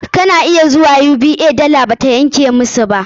Kana iya zuwa UBA, dala ba ta yanke musu.